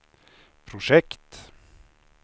projekt